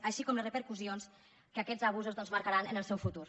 així com les repercussions que aquests abusos doncs marcaran en el seu futur